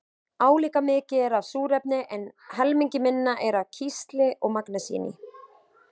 Álíka mikið er af súrefni en helmingi minna er af kísli og magnesíni.